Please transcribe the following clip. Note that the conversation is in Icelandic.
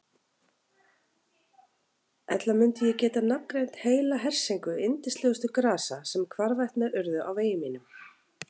Ella mundi ég geta nafngreint heila hersingu yndislegustu grasa sem hvarvetna urðu á vegi mínum.